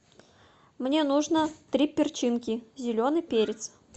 мне нужно три перчинки зеленый перец